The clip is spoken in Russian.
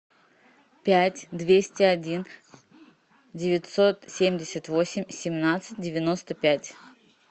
пять двести один девятьсот семьдесят восемь семнадцать девяносто пять